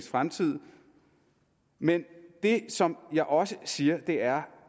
fremtid men det som jeg også siger er